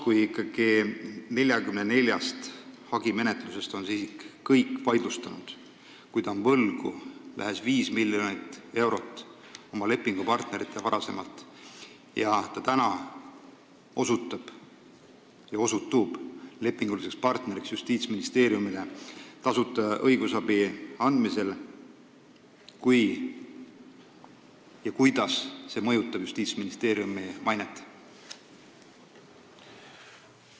Kui isik on 44 hagimenetlusest kõik vaidlustanud, kui ta on juba varem oma lepingupartneritele võlgu ligi 5 miljonit eurot, aga nüüd osutub Justiitsministeeriumi lepinguliseks partneriks tasuta õigusabi andmisel, siis kuidas see kõik mõjutab Justiitsministeeriumi mainet?